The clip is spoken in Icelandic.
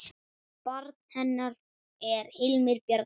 Barn hennar er Hilmir Bjarni.